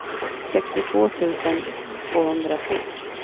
sextiotvå tusen tvåhundratre